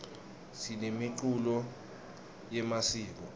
sinemiculo yemasiko